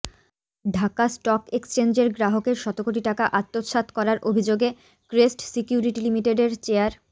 Dhaka stock এক্সচেঞ্জের গ্রাহকের শতকোটি টাকা আত্মসাৎ করার অভিযোগে ক্রেস্ট সিকিউরিটি লিমিটেডের চেয়ার